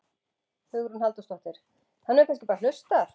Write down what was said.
Hugrún Halldórsdóttir: Hann hefur kannski bara hlustað?